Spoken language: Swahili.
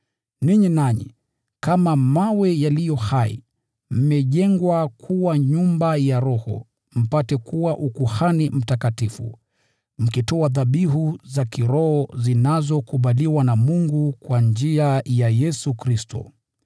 ninyi nanyi, kama mawe yaliyo hai, mnajengwa kuwa nyumba ya kiroho, ili mpate kuwa ukuhani mtakatifu, mkitoa dhabihu za kiroho zinazokubaliwa na Mungu kwa njia ya Yesu Kristo.